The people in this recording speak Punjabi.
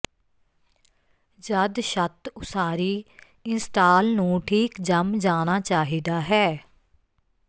ਜਦ ਛੱਤ ਉਸਾਰੀ ਇੰਸਟਾਲ ਨੂੰ ਠੀਕ ਜੰਮ ਜਾਣਾ ਚਾਹੀਦਾ ਹੈ